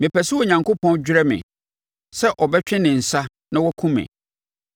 Mepɛ sɛ Onyankopɔn dwerɛ me, sɛ ɔbɛtwe ne nsa na wakum me,